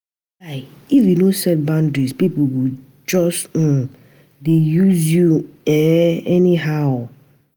Guy, if you no set boundaries, pipo go just um dey use you um anyhow.